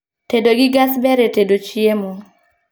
Tedo gi gas ber e tedo chiemo